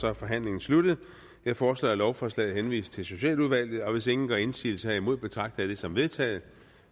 er forhandlingen sluttet jeg foreslår at lovforslaget henvises til socialudvalget hvis ingen gør indsigelse herimod betragter jeg det som vedtaget